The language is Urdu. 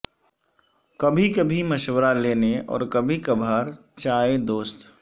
کبھی کبھی مشورہ لینے اور کبھی کبھار چائے دوست